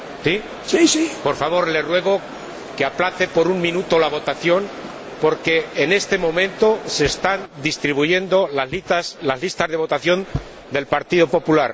Señor Presidente, por favor, le ruego que aplace por un minuto la votación porque, en este momento, se están distribuyendo las listas de votación del Partido Popular.